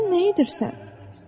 Sən nə edirsən?